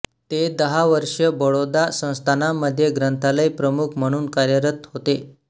ते दहा वर्ष बडोदा संस्थानांमध्ये ग्रंथालय प्रमुख म्हणून कार्यरत होते